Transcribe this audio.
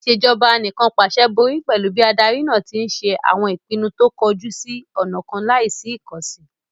Ìṣèjọba Anìkànpàṣẹ borí pẹ̀lú bí adarí náà tí ń ṣe àwọn ìpinnu tó kọjú sí ọ̀nà kan láì sí ìkànsì